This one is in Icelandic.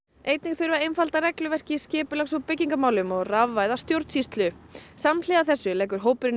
einnig þurfi að einfalda regluverk í skipulags og byggingarmálum og rafvæða stjórnsýslu samhliða þessu leggur hópurinn